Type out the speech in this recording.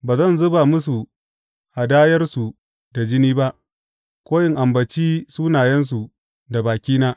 Ba zan zuba musu hadayarsu ta jini ba ko in ambaci sunayensu da bakina.